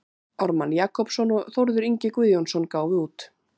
Ármann Jakobsson og Þórður Ingi Guðjónsson gáfu út.